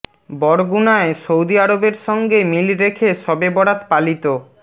বরগুনায় Saudi আরবের সঙ্গে মিল রেখে শবে বরাত পালিত